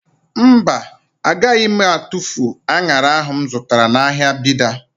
Mba, agaghị m atufu an̄ara ahụ m zụtara n'ahịa Bida.